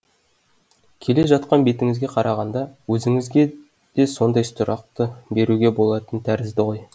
келе жатқан бетіңізге қарағанда өзіңізге де сондай сұрақты беруге болатын тәрізді ғой